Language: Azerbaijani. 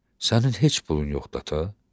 Sənin heç pulun yoxdur ata?